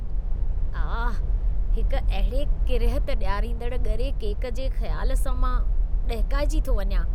आह, हिकु अहिड़े किरिहत ॾियारींदड़़ ॻरे केक जे ख़्यालु सां मां ॾहिकाइजी थो वञा।